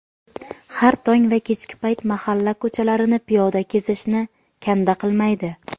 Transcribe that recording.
har tong va kechki payt mahalla ko‘chalarini piyoda kezishni kanda qilmaydi.